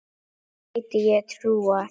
Gæti ég trúað.